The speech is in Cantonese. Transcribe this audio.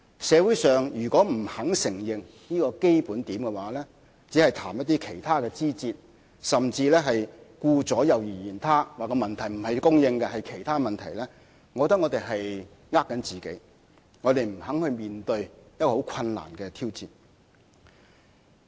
社會如果不肯承認這個基本點，而只是談一些其他的枝節，甚至顧左右而言他，指問題不是供應而是其他因素所致，我覺得他們只是在欺騙自己，不肯面對一個很困難的挑戰。